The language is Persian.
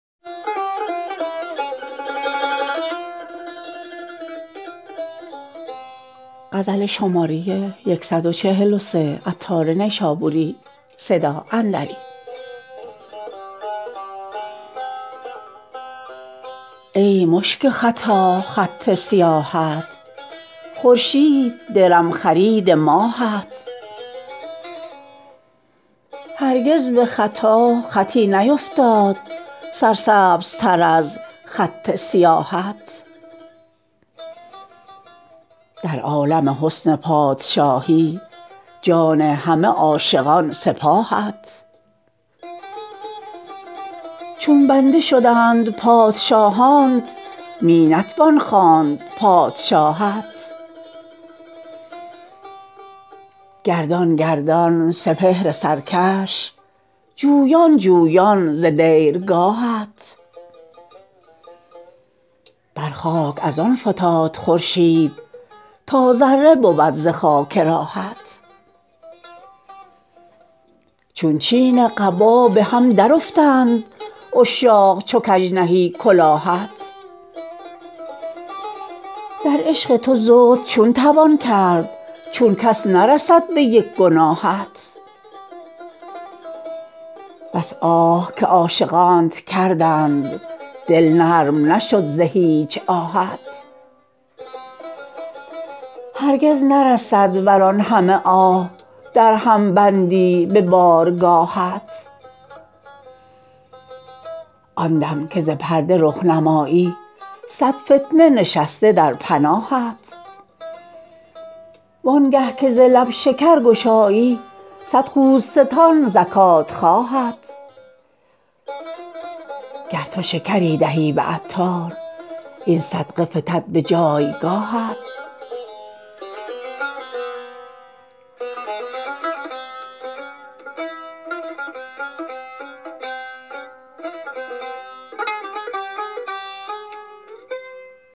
ای مشک ختا خط سیاهت خورشید درم خرید ماهت هرگز به خطا خطی نیفتاد سر سبزتر از خط سیاهت در عالم حسن پادشاهی جان همه عاشقان سپاهت چون بنده شدند پادشاهانت می نتوان خواند پادشاهت گردان گردان سپهر سرکش جویان جویان ز دیر گاهت بر خاک از آن فتاد خورشید تا ذره بود ز خاک راهت چون چین قبا به هم درافتند عشاق چو کژ نهی کلاهت در عشق تو زهد چون توان کرد چون کس نرسد به یک گناهت بس آه که عاشقانت کردند دل نرم نشد ز هیچ آهت هرگز نرسد ور آن همه آه درهم بندی به بارگاهت آن دم که ز پرده رخ نمایی صد فتنه نشسته در پناهت وانگه که ز لب شکر گشایی صد خوزستان زکات خواهت گر تو شکری دهی به عطار این صدقه فتد به جایگاهت